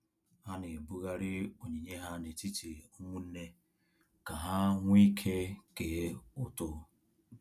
Ha na-ebughari onyinye ha n'etiti ụmụnne ka ha nweike kee ụtụ